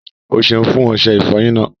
Ọ́ sẹun fún ọṣẹ̀ ìfọ́yín náà.